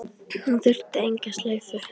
Hún þurfti enga slaufu.